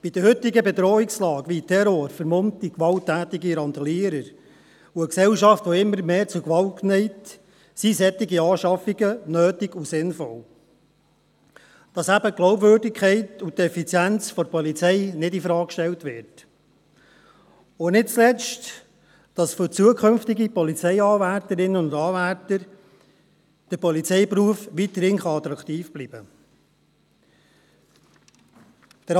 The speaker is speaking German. Bei der heutigen Bedrohungslage, wie Terror, vermummten gewalttätigen Randalieren und einer Gesellschaft, die immer mehr zu Gewalt neigt, sind solche Anschaffungen notwendig und sinnvoll, damit eben die Glaubwürdigkeit und die Effizienz der Polizei nicht infrage gestellt wird, und nicht zuletzt, weil damit für zukünftige Polizeianwärterinnen und -anwärter der Polizeiberuf weiterhin attraktiv bleiben kann.